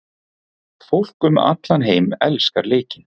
Fólk um allan heim elskar leikinn.